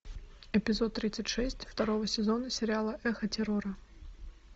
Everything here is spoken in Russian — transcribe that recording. эпизод тридцать шесть второго сезона сериала эхо террора